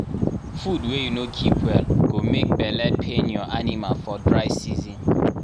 food wey you no keep well go make belle pain your animal for dry season